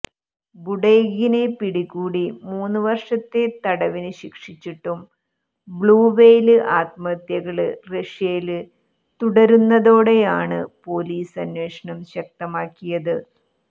ബുഡെയ്കിനെ പിടികൂടി മൂന്നു വര്ഷത്തെ തടവിനു ശിക്ഷിച്ചിട്ടും ബ്ലൂവെയ്ല് ആത്മഹത്യകള് റഷ്യയില് തുടര്ന്നതോടെയാണ് പൊലീസ് അന്വേഷണം ശക്തമാക്കിയത്